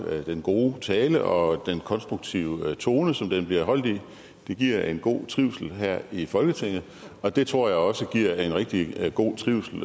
den gode tale og den konstruktive tone som den blev holdt i det giver en god trivsel her i folketinget og det tror jeg også giver en rigtig god trivsel